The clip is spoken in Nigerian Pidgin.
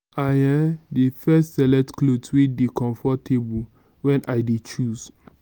i um dey first select clothe wey dey comfortable wen i dey choose.